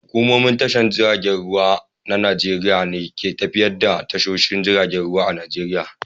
Hukumomin tashar jiragen ruwa na Najeriya ne ke tafiyar da tashoshin jiragen ruwa a Nijeriya.